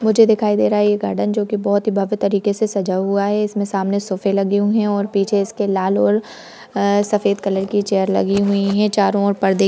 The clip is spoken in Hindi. मुझे दिखाई दे रहा है यह गार्डन जोकि बहोत ही भव्य तरीके से सजा हुआ है| इसमें सामनें सोफ़े लगे हुए हैं और पीछे इसके लाल और सफेद कलर की चेयर लगी हुई हैं| चारों ओर पर्दे --